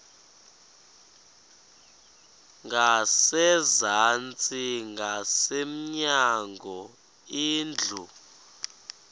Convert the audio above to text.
ngasezantsi ngasemnyango indlu